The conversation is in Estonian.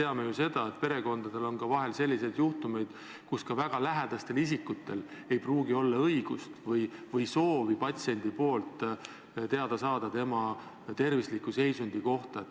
Samas me teame, et perekondades tuleb ette, et patsient ei soovi, et ka väga lähedased isikud saavad infot tema tervisliku seisundi kohta.